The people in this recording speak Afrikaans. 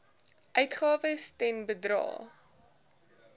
uitgawes ten bedrae